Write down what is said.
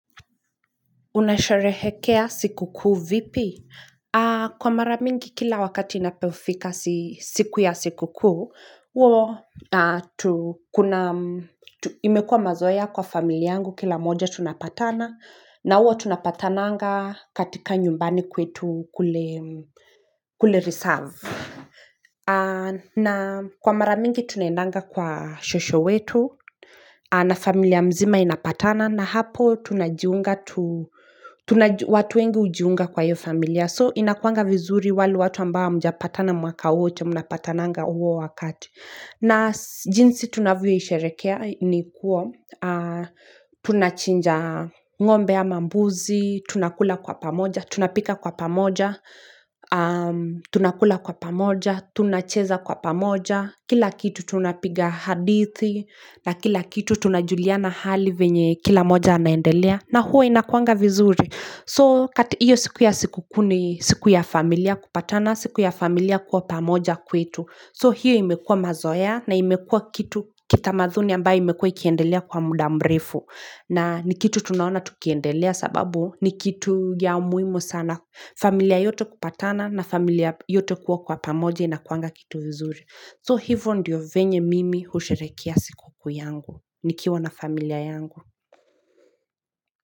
Unasharehekea siku kuu vipi? Kwa mara mingi kila wakati inapofika siku ya siku kuu, imekuwa mazoea kwa familia yangu kila mmoja tunapatana, na huwa tunapatananga katika nyumbani kwetu kule reserve. Na kwa mara mingi tunaendanga kwa shosho wetu na familia mzima inapatana, na hapo tunajiunga, watu wengi hujiunga kwa hiyo familia so inakuanga vizuri wale watu ambao hamjapatana mwaka wote mnapatananga huo wakati na jinsi tunavyoisherekea ni kuwa, tunachinja ngombe ama mbuzi, tunakula kwa pamoja, tunapika kwa pamoja tunakula kwa pamoja, tunacheza kwa pamoja, kila kitu tunapiga hadithi na kila kitu. Tunajuliana hali venye kila mmoja anaendelea na huwa inakuanga vizuri. So hiyo siku ya siku kuu ni siku ya familia kupatana siku ya familia kuwa pamoja kwetu. So hiyo imekua mazoea na imekua kitu kitamadhuni ambaye imekua ikiendelea kwa muda mrefu na ni kitu tunaona tukiendelea sababu ni kitu ya muhimu sana familia yote kupatana na familia yote kuwa kwa pamoja inakuanga kitu vizuri. So hivo ndiyo venye mimi husherehekea siku kuu yangu. Nikiwa na familia yangu.